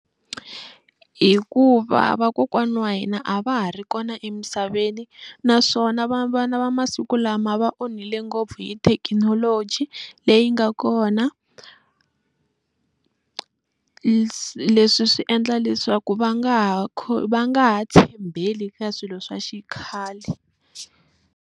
Hikuva vakokwana wa hina a va ha ri kona emisaveni naswona vana va masiku lama va onhile ngopfu hi thekinoloji leyi nga kona leswi swi endla leswaku va nga ha va nga ha tshembeli ka swilo swa xikhale.